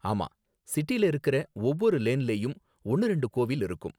ஆமா, சிட்டில இருக்குற ஒவ்வொரு லேன்லயும் ஒன்னு ரெண்டு கோவில் இருக்கும்